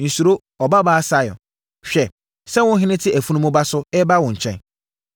“Nsuro, Ɔbabaa Sion! Hwɛ sɛ wo ɔhene te afunumu ba so reba wo nkyɛn.”